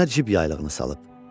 Üzünə cib yaylığını salıb.